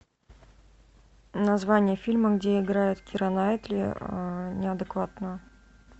название фильма где играет кира найтли неадекватную